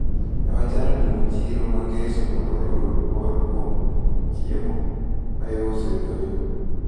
Newachano limo chiro mangeso mondo wayud mor kowuok kuom chiemo maiso edho yo,